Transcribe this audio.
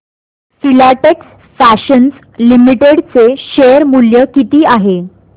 Filatex fashions limited चे share मूल्य किती आहे